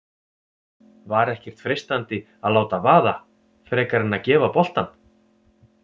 Var ekkert freistandi að láta vaða frekar en að gefa boltann?